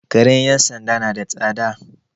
Karen 'yan sanda na da tsada.